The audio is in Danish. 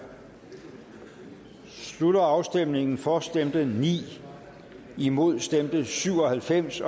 slutter afstemningen for stemte ni imod stemte syv og halvfems